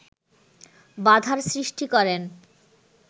বাধার সৃষ্টি করেন